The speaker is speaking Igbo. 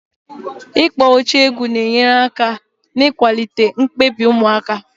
Ịkpọ oche egwu na-enyere aka n'ịkwalite mkpebi ụmụaka.